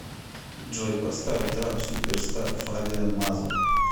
джой поставь трап суперстар фабиан мазур